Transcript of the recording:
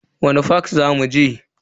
Wani fak zaku je?